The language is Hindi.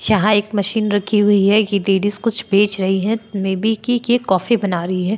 यहाँ एक मशीन रखी हुई है ये लेडीज कुछ बेच रही है मे बी की ये कॉफ़ी बना रही है।